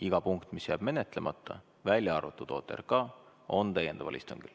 Iga punkt, mis jääb menetlemata, välja arvatud OTRK, on täiendaval istungil.